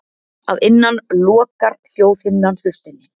Að innan lokar hljóðhimnan hlustinni.